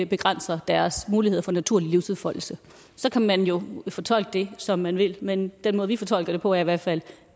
begrænser deres muligheder for naturlig livsudfoldelse så kan man jo fortolke det som man vil men den måde vi fortolker det på er i hvert fald